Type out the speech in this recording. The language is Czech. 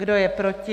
Kdo je proti?